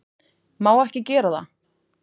Má ekki gera það.